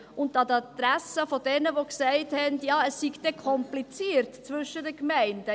An die Adresse derer, die gesagt haben, es wäre dann kompliziert zwischen den Gemeinden: